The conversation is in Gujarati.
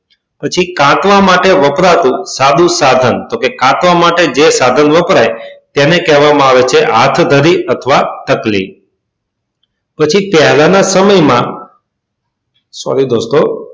પછી તાંતણા માટે વપરાતું સાધુ સાધન કે તાંતણા માટે જે સાધન વપરાય એને કહેવામાં આવે છે હાથ ધરી અથવા ચકલી પછી પહેલાના સમયમાં sorry દોસ્તો,